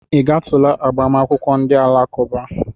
Ị gatula agbamakwụkwọ ndị Alakụba?